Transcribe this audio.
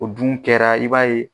O dun kɛra i b'a ye.